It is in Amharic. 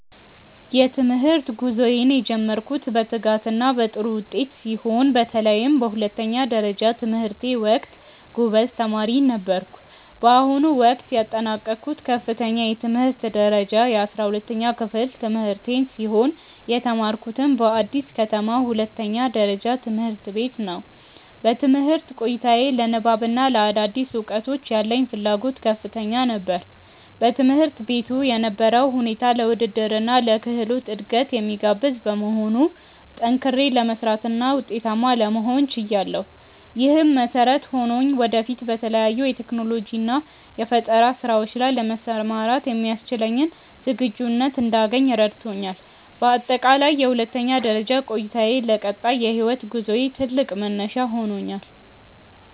የትምህርት ጉዞዬን የጀመርኩት በትጋትና በጥሩ ውጤት ሲሆን፣ በተለይም በሁለተኛ ደረጃ ትምህርቴ ወቅት ጎበዝ ተማሪ ነበርኩ። በአሁኑ ወቅት ያጠናቀቅኩት ከፍተኛ የትምህርት ደረጃ የ12ኛ ክፍል ትምህርቴን ሲሆን፣ የተማርኩትም በአዲስ ከተማ ሁለተኛ ደረጃ ትምህርት ቤት ነው። በትምህርት ቆይታዬ ለንባብና ለአዳዲስ እውቀቶች ያለኝ ፍላጎት ከፍተኛ ነበር። በትምህርት ቤቱ የነበረው ሁኔታ ለውድድርና ለክህሎት እድገት የሚጋብዝ በመሆኑ፣ ጠንክሬ ለመስራትና ውጤታማ ለመሆን ችያለሁ። ይህም መሰረት ሆኖኝ ወደፊት በተለያዩ የቴክኖሎጂና የፈጠራ ስራዎች ላይ ለመሰማራት የሚያስችለኝን ዝግጁነት እንዳገኝ ረድቶኛል። በአጠቃላይ የሁለተኛ ደረጃ ቆይታዬ ለቀጣይ የህይወት ጉዞዬ ትልቅ መነሻ ሆኖኛል።